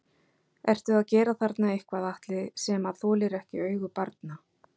Ertu að gera þarna eitthvað Atli sem að þolir ekki augu barna?